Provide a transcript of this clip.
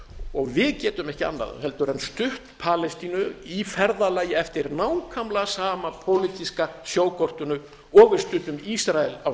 og við getum ekki annað en stutt palestínu í ferðalagi eftir nákvæmlega sama pólitíska sjókortinu og við studdum ísrael á